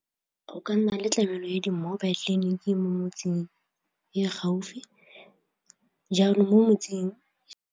Go ka nna le tlamelo ya di-mobile tleliniki mo motseng e gaufi jaanong mo motseng.